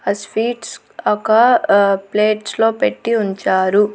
ఆ స్వీట్స్ ఒక అ ప్లేట్స్ లో పెట్టి ఉంచారు.